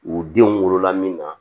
U denw wolola min na